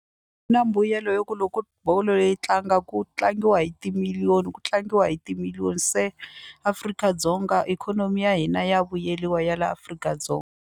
Na mbuyelo yo ku loko bolo yi tlanga ku tlangiwa hi timiliyoni ku tlangiwa hi timiliyoni se Afrika-Dzonga ikhonomi ya hina ya vuyeliwa ya la Afrika-Dzonga.